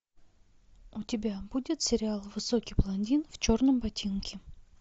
у тебя будет сериал высокий блондин в черном ботинке